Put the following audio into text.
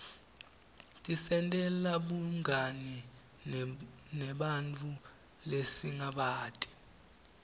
tisentela bungani nebanntfu lesingabati